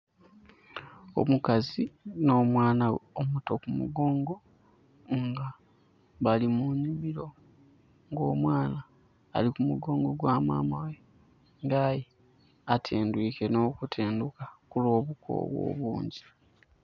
Omukazi nh'omwana ghe omuto ku mugongo nga bali mu nhimiro. Nga omwana ali ku mugongo gwa mama ghe nga aye atendhwiike nh'okutendhuka ku lw'obukoowu obungyi.